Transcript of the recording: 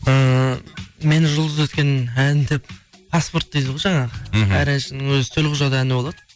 ііі мені жұлдыз еткен ән деп паспорт дейді ғой жаңағы мхм әр әншінің өзінің төл құжат әні болады